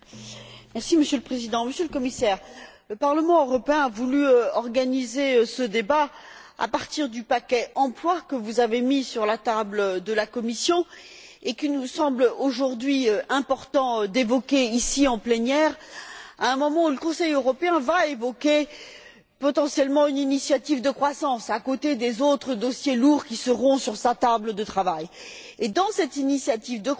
Monsieur le Président, Monsieur le Commissaire, le Parlement européen a voulu organiser ce débat à partir du paquet emploi que vous avez mis sur la table de la Commission et qu'il nous semble aujourd'hui important d'évoquer ici, en plénière, à un moment où le Conseil européen va évoquer potentiellement une initiative de croissance, à côté des autres dossiers lourds qui seront sur sa table de travail. Dans cette initiative de croissance,